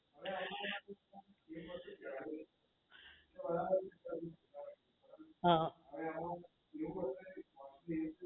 હા